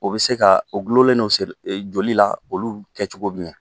O bɛ se ka , o gulonlen don joli la, olu kɛ cogo jumɛn?